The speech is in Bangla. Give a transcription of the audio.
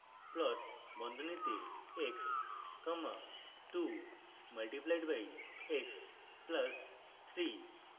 plot বন্ধনীতে x comma 2 multiplied by x plus 3